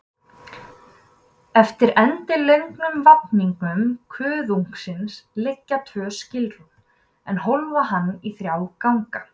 Eftir endilöngum vafningum kuðungsins liggja tvö skilrúm, er hólfa hann í þrjá ganga.